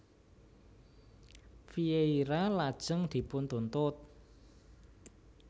Vieira lajeng dipuntuntut